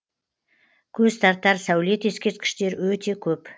көз тартар сәулет ескерткіштер өте көп